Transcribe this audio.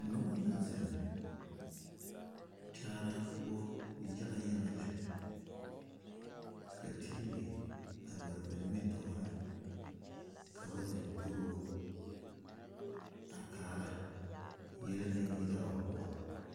Neba la zeŋ gyaara poʊ yaga yaga lɛ. Ka tv a mare ba nimitooreŋ ka ba zeŋ toru o a kaara yele na yira a o poʊŋ